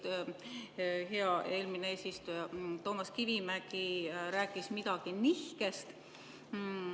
Hea eelmine eesistuja Toomas Kivimägi rääkis midagi nihkest.